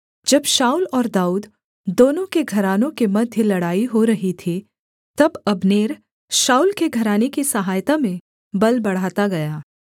जब शाऊल और दाऊद दोनों के घरानों के मध्य लड़ाई हो रही थी तब अब्नेर शाऊल के घराने की सहायता में बल बढ़ाता गया